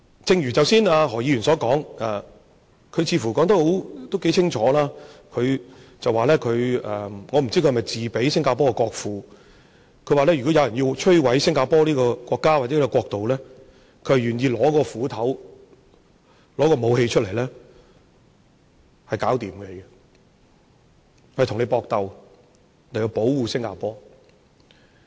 正如何議員剛才的發言，他似乎說得頗清楚，我不知道他是否自比新加坡的國父，他說，如果有人要摧毀新加坡這個國家，或者說這個國度，他願意用斧頭，拿武器出來跟你搏鬥，以保護新加坡。